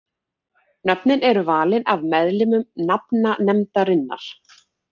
Nöfnin eru valin af meðlimum nafnanefndarinnar.